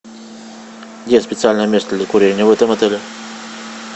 где специальное место для курения в этом отеле